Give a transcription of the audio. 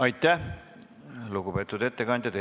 Aitäh, lugupeetud ettekandja!